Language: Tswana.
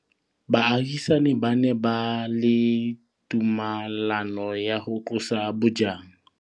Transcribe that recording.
Baagisani ba ne ba na le tumalanô ya go tlosa bojang.